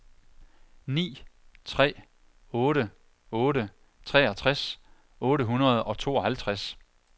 ni tre otte otte treogtres otte hundrede og tooghalvtreds